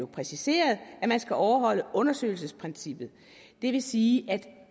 præciseret at man skal overholde undersøgelsesprincippet det vil sige at